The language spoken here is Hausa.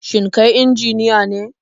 Shin kai injiniya ne?